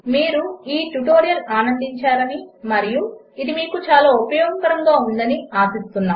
మీరు ఈ ట్యుటోరియల్ ఆనందించారని మరియు ఇది మీకు ఉపయోగకరముగా ఉందని ఆశిస్తున్నాము